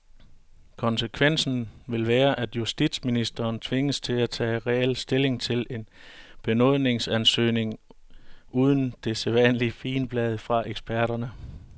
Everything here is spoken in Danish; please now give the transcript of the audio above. Konsekvensen vil være, at justitsministeren tvinges til at tage reel stilling til en benådningsansøgning uden det sædvanlige figenblad fra eksperterne.